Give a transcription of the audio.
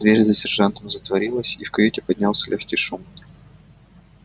дверь за сержантом затворилась и в каюте поднялся лёгкий шум